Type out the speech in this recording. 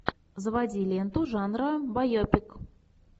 заводи ленту жанра байопик